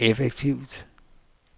effektivt